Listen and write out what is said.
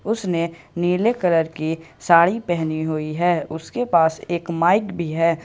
उसने नीले कलर की साड़ी पहनी हुई है उसके पास एक माइक भी है।